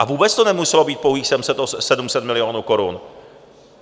A vůbec to nemuselo být pouhých 700 milionů korun.